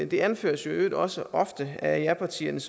det anføres i øvrigt også ofte af japartierne